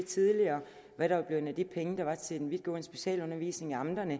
tidligere hvad der var blevet af de penge der var til den vidtgående specialundervisning i amterne